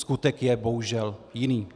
Skutek je bohužel jiný.